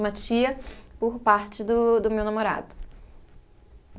Uma tia por parte do do meu namorado.